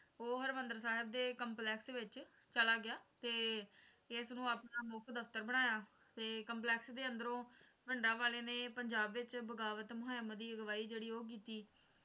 ਉਹ ਹਰਿਮੰਦਰ ਸਾਹਿਬ ਦੇ ਕੰਪਲੈਕਸ ਦੇ ਵਿਚ ਚਲਾ ਗਿਆ ਤੇ ਇਸ ਨੂੰ ਆਪਣਾ ਮੁੱਖ ਦਫਤਰ ਬਣਾਇਆ ਤੇ ਕੰਪਲੈਕਸ ਦੇ ਅੰਦਰੋਂ ਭਿੰਡਰਾਂਵਾਲੇ ਨੇ ਪੰਜਾਬ ਵਿੱਚ ਬਗਾਵਤ ਮੁਹਿੰਮ ਦੀ ਅਗੁਆਈ ਜਿਹੜੀ ਉਹ ਕੀਤੀ ਤੇ ਜੂਨ